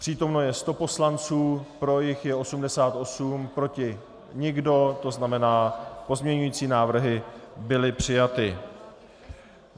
Přítomno je 100 poslanců, pro jich je 88, proti nikdo, to znamená, pozměňovací návrhy byly přijaty.